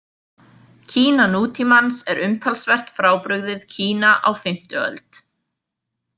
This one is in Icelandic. Kína nútímans er umtalsvert frábrugðið Kína á fimmta öld.